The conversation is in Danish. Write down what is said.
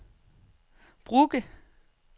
Brugge